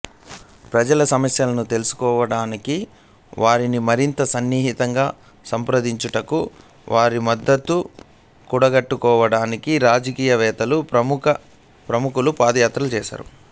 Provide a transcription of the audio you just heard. ప్రజల సమస్యలను తెలుసుకొనుటకు వారిని మరింత సన్నిహితంగా సంప్రదించుటకు వారి మద్దతు కూడగట్టుకోవడానికి రాజకీయవేత్తలు ప్రముఖులు పాదయాత్ర చేపట్టుతారు